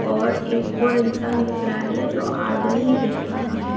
और एक ओर इंसान दिख रहा है जो आधा ही दिख रहा है।